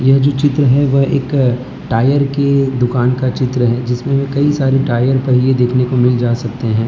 यह जो चित्र है वह एक टायर के दुकान का चित्र है जिसमें वे कई सारी टायर पहिए देखने को मिल जा सकते हैं।